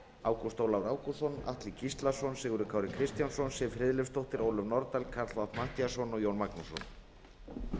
ágúst ólafur ágústsson atli gíslason sigurður kári kristjánsson siv friðleifsdóttir ólöf nordal karl fimmti matthíasson og jón magnússon